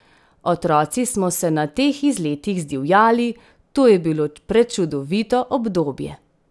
Otroci smo se na teh izletih zdivjali, to je bilo prečudovito obdobje!